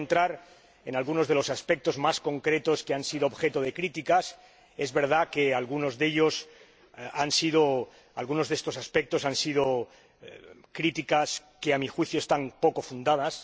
No voy a tratar algunos de los aspectos más concretos que han sido objeto de críticas —es verdad que algunos de estos aspectos han sido críticas que a mi juicio están poco fundadas.